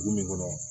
Dugu min kɔnɔ